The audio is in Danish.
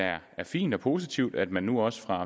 er fint og positivt at man nu også fra